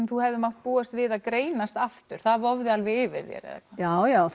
þú hafðir búist við því að greinast aftur þannig það vofði alveg yfir þér já já